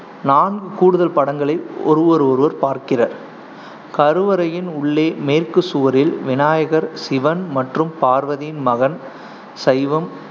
நான்கு கூடுதல் படங்களில் ஒருவர் பார்க்கிறர் கருவறையின் உள்ளே மேற்குச் சுவரில் விநாயகர் சிவன் மற்றும் பார்வதியின்மகன் சைவம்